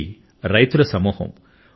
ఇది రైతుల సమూహం